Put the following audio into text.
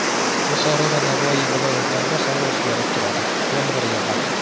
Buxoro va Navoiy viloyatlarida havo o‘zgarib turadi, yomg‘ir yog‘adi.